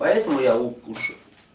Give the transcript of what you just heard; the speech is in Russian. поэтому я укушу